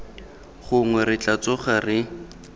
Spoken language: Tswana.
gongwe re tla tsoga re